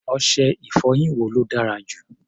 Ọṣẹ-ìfọyín wo ló dára jù?